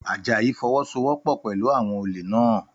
Àjàyí fọwọ́sowọ́pọ̀ pẹ̀lú àwọn olè naa